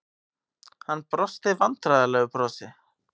Hann brosti vandræðalegu brosi.